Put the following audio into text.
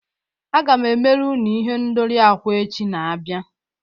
Aga m emere unu ihendori akwa echi na-abịa